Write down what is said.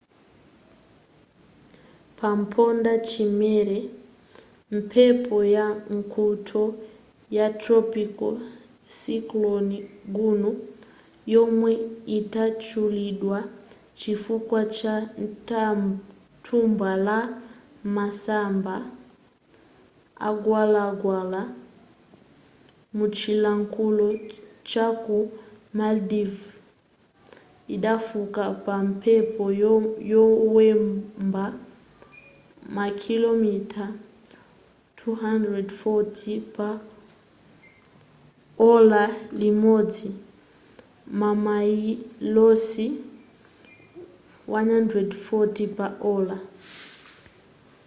pampondachimera mphepo ya nkuntho ya tropical cyclone gonu yomwe inatchulidwa chifukwa cha thumba la masamba amgwalagwala muchilankhulo chaku maldives idafika pa mphepo yowomba makilomita 240 pa ola limodzi mamayilosi 149 pa ola